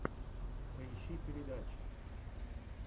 поищи передачи